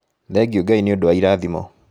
Thengiũ Ngai nĩ ũndũ wa irathimo.